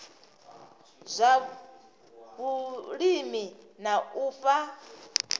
zwa vhulimi na u fha